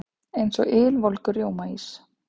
Eins og ylvolgur rjómaís.